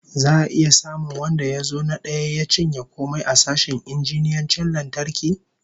Za'a iya samun wanda ya zo na daya ya cinye komai a sashen injiniyancin lantarki?